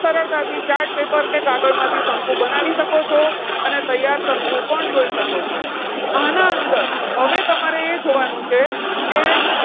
સરળતાથી chart paper કે કાગળ માંથી શંકુ બનાવી શકો છો. અને તૈયાર શંકુ પણ જોઈ શકો છો. આના અંદર હવે તમારે એ જોવાનું છે કે,